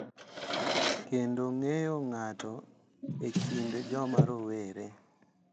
Kendo ng’eyo ng’ato e kind joma rowere.